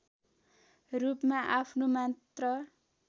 रूपमा आफ्नो मात्र